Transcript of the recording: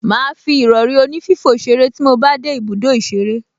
Màá fi ìrọrí onífífò ṣeré tí mo bá dé ibùdó ìṣeré